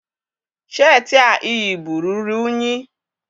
Sheetị a ị yi bụ ruru unyi